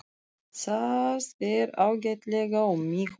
Það fer ágætlega um mig uppi.